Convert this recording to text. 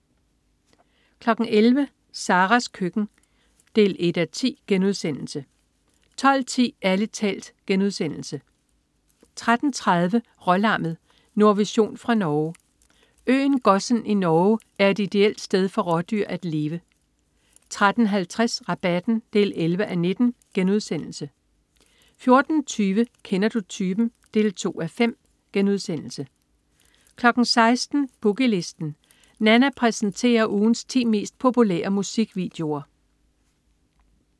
11.00 Saras køkken 1:10* 12.10 Ærlig talt* 13.30 Rålammet. Nordvision fra Norge. Øen Gossen i Norge er et ideelt sted for rådyr at leve 13.50 Rabatten 11:19* 14.20 Kender du typen? 2:5* 16.00 Boogie Listen. Nanna præsenterer ugens ti mest populære musikvideoer